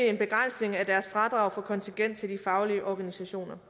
en begrænsning af deres fradrag for kontingent til de faglige organisationer